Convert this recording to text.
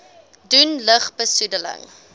doen lug besoedeling